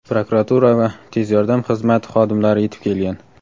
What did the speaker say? Prokuratura va "Tez yordam" xizmati xodimlari yetib kelgan.